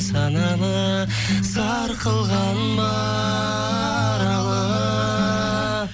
саналы сарқылған ба аралы